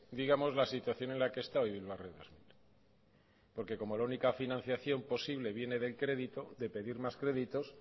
digamos la situación en la que está hoy bilbao ría dos mil porque como la única financiación posible viene del crédito de pedir más créditos